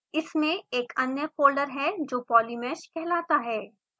इसमें एक अन्य फोल्डर है जो polymesh कहलाता है